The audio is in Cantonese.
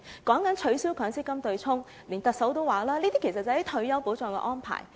說到取消強積金對沖，連特首也說，這些其實是退休保障的安排。